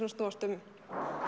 að snúast um